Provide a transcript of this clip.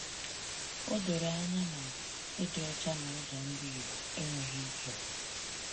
O doro anya na, ịdị ọcha na ụzọ ndụ Igbo enweghị nkewa.